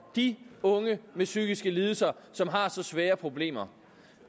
de unge med psykiske lidelser som har så svære problemer